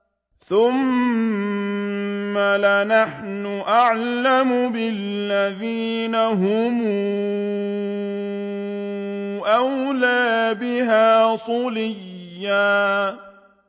ثُمَّ لَنَحْنُ أَعْلَمُ بِالَّذِينَ هُمْ أَوْلَىٰ بِهَا صِلِيًّا